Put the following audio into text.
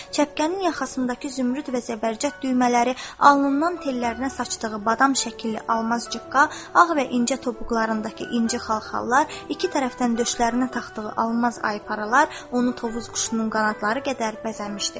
Çəpkənin yaxasındakı zümrüd və zəbərcət düymələri, alnından tellərinə saçdığı badam şəkilli almaz cıqqa, ağ və incə topuqlarındakı inci xalxallar, iki tərəfdən döşlərinə taxdığı almaz ayparalar onu Tovuz quşunun qanadları qədər bəzəmişdi.